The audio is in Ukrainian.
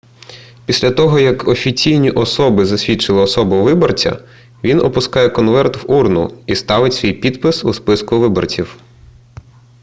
після того як офіційні особи засвідчили особу виборця він опускає конверт в урну і ставить свій підпис у списку виборців